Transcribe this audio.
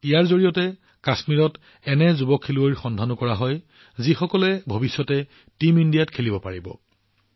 ইয়াৰ জৰিয়তে কাশ্মীৰত যুৱ খেলুৱৈসকলৰ সন্ধানো অব্যাহত আছে যিসকলে পিছত টীম ইণ্ডিয়া হিচাপে খেলিব